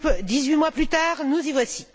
Dix huit mois plus tard, nous y voici.